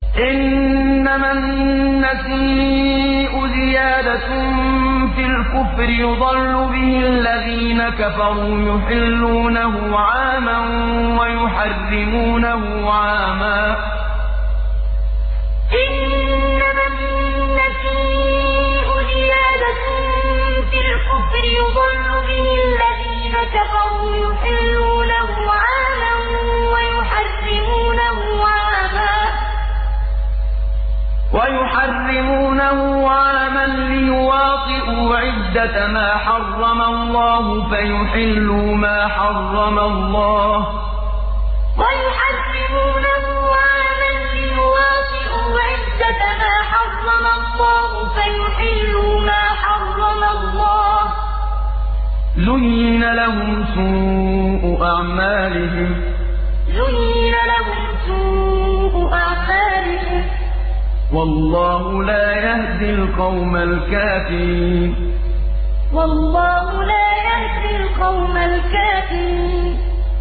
إِنَّمَا النَّسِيءُ زِيَادَةٌ فِي الْكُفْرِ ۖ يُضَلُّ بِهِ الَّذِينَ كَفَرُوا يُحِلُّونَهُ عَامًا وَيُحَرِّمُونَهُ عَامًا لِّيُوَاطِئُوا عِدَّةَ مَا حَرَّمَ اللَّهُ فَيُحِلُّوا مَا حَرَّمَ اللَّهُ ۚ زُيِّنَ لَهُمْ سُوءُ أَعْمَالِهِمْ ۗ وَاللَّهُ لَا يَهْدِي الْقَوْمَ الْكَافِرِينَ إِنَّمَا النَّسِيءُ زِيَادَةٌ فِي الْكُفْرِ ۖ يُضَلُّ بِهِ الَّذِينَ كَفَرُوا يُحِلُّونَهُ عَامًا وَيُحَرِّمُونَهُ عَامًا لِّيُوَاطِئُوا عِدَّةَ مَا حَرَّمَ اللَّهُ فَيُحِلُّوا مَا حَرَّمَ اللَّهُ ۚ زُيِّنَ لَهُمْ سُوءُ أَعْمَالِهِمْ ۗ وَاللَّهُ لَا يَهْدِي الْقَوْمَ الْكَافِرِينَ